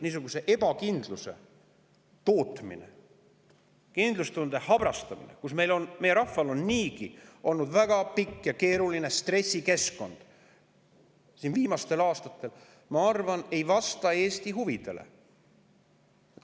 Niisuguse ebakindluse tootmine ja kindlustunde habrastamine, kui meie rahval on niigi olnud viimastel aastatel väga pikalt keeruline stressikeskkond, ma arvan, ei vasta Eesti huvidele.